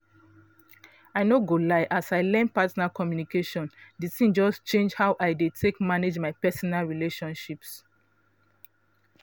i no go lie as i learn partner communication the thing just change how i dey take manage my personal relationships